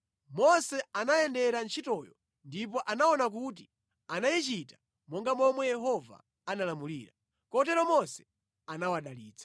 Mose anayendera ntchitoyo ndipo anaona kuti anayichita monga momwe Yehova analamulira. Kotero Mose anawadalitsa.